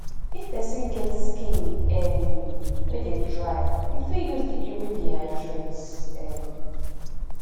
if person get skin um wey dey dry im fit use di cream wey dey hydrate um